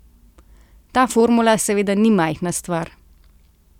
Ta formula seveda ni majhna stvar.